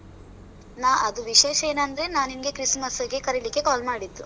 ನಾ ಅದು ವಿಶೇಷ ಏನ್ ಅಂದ್ರೆ ನಾನ್ ನಿಂಗೆ christmas ಗೆ ಕರೀಲಿಕ್ಕೆ call ಮಾಡಿದ್ದು